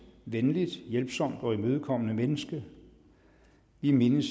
venligt hjælpsomt og imødekommende menneske vi mindes